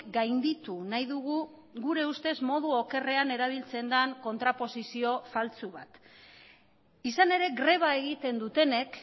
gainditu nahi dugu gure ustez modu okerrean erabiltzen den kontraposizio faltsu bat izan ere greba egiten dutenek